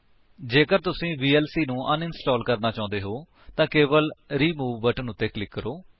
ਜੇਕਰ ਤੁਸੀ ਵੀਐਲਸੀ ਨੂੰ ਅਨਇੰਸਟਾਲ ਕਰਣਾ ਚਾਹੁੰਦੇ ਹੋ ਤਾਂ ਕੇਵਲ ਰਿਮੂਵ ਬਟਨ ਉੱਤੇ ਕਲਿਕ ਕਰੋ